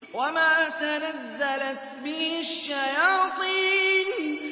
وَمَا تَنَزَّلَتْ بِهِ الشَّيَاطِينُ